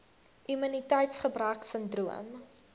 immuniteits gebrek sindroom